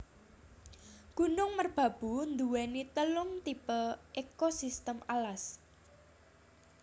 Gunung Merbabu nduwéni telung tipe ekosistem alas